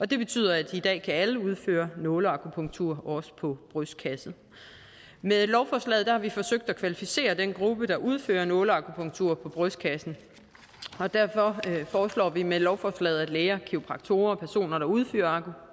det betyder at i dag kan alle udføre nåleakupunktur også på brystkassen med lovforslaget har vi forsøgt at kvalificere den gruppe der udfører nåleakupunktur på brystkassen og derfor foreslår vi med lovforslaget at læger og kiropraktorer og personer der udfører